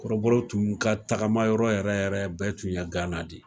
Kɔrɔbɔrɔw tun ka tagama yɔrɔ yɛrɛ yɛrɛ bɛɛ tun ye gana de ye